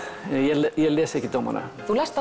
ég les ekki dómana þú lest